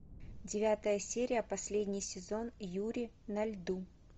девятая серия последний сезон юри на льду